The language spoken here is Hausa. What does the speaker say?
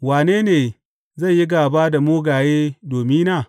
Wane ne zai yi gāba da mugaye domina?